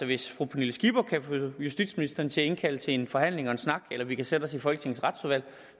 hvis fru pernille skipper kan få justitsministeren til at indkalde til en forhandling og en snak eller vi kan sætte os i folketingets retsudvalg